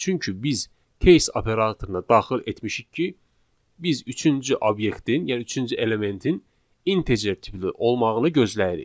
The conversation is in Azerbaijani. Çünki biz case operatoruna daxil etmişik ki, biz üçüncü obyektin, yəni üçüncü elementin integer tipli olmağını gözləyirik.